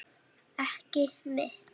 Ekki mitt.